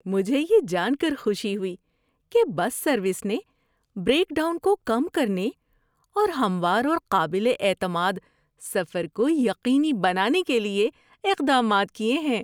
مجھے یہ جان کر خوشی ہوئی کہ بس سروس نے بریک ڈاؤن کو کم کرنے، اور ہموار اور قابل اعتماد سفر کو یقینی بنانے کے لیے اقدامات کیے ہیں۔